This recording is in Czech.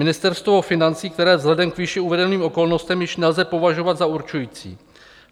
Ministerstvo financí, které vzhledem k výše uvedeným okolnostem již nelze považovat za určující.